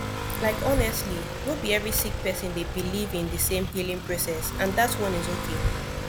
like honestly no bi every sik person dey biliv in di sem healing process and dat one is okay